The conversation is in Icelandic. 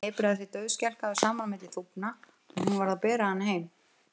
Hann hnipraði sig dauðskelkaður saman milli þúfna og hún varð að bera hann heim.